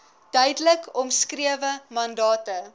duidelik omskrewe mandate